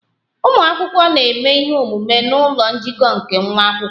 Ụmụ akwụkwọ na-eme ihe omume n'ụlọ njikọ nke nwa akwụkwọ